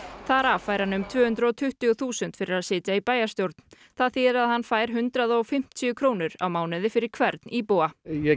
þar af fær hann um tvö hundruð og tuttugu þúsund fyrir að sitja í bæjarstjórn það þýðir að hann fær um hundrað og fimmtíu krónur á mánuði fyrir hvern íbúa ég